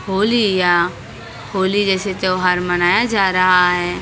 होली या होली जैसे त्योहार मनाया जा रहा है और--